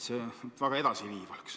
See väga edasiviiv ei ole.